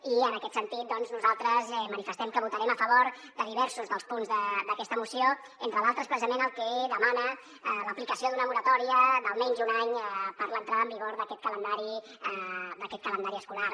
i en aquest sentit doncs nosaltres manifestem que votarem a favor de diversos dels punts d’aquesta moció entre d’altres precisament el que demana l’aplicació d’una moratòria d’almenys un any per a l’entrada en vigor d’aquest calendari escolar